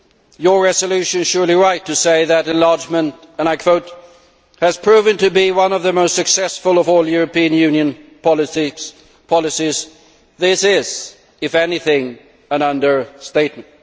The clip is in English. Your resolution is surely right to say that enlargement, and I quote, has proven to be one of the most successful of all European Union policies'. This is, if anything, an understatement.